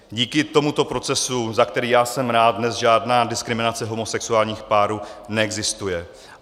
Díky tomuto procesu, za který já jsem rád, dnes žádná diskriminace homosexuálních párů neexistuje.